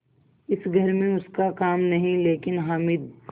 इस घर में उसका काम नहीं लेकिन हामिद